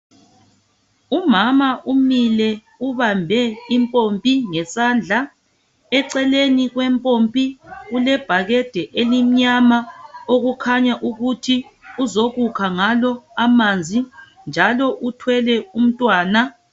Umama umile ubambe impompi ngesandla. Eceleni kwempompi kulebhakede elimnyama okukhanya ukuthi uzokukha ngalo amanzi, njalo uthwele umntwana.